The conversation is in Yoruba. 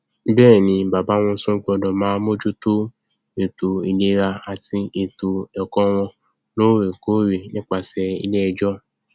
bẹẹ ni bàbá wọn tún gbọdọ máa mójútó ètò ìlera àti ètò ẹkọ wọn lóòrèkóòrè nípasẹ iléẹjọ